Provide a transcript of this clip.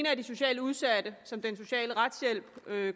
er de socialt udsatte som den sociale retshjælp